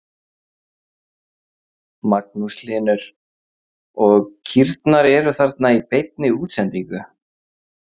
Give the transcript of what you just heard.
Magnús Hlynur: Og kýrnar eru þarna í beinni útsendingu?